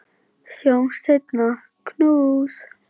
Sjáumst seinna, knús.